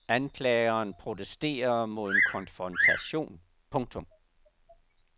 Anklageren protesterer mod en konfrontation. punktum